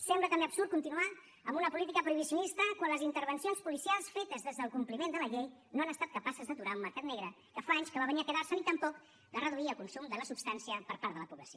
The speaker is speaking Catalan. sembla també absurd continuar amb una política prohibicionista quan les intervencions policials fetes des del compliment de la llei no han estat capaces d’aturar un mercat negre que fa anys que va venir a quedar se ni tampoc de reduir el consum de la substància per part de la població